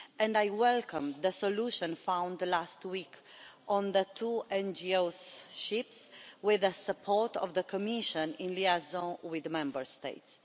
I welcome the solution found last week on the two NGO ships, with the support of the Commission in liaison with the Member States.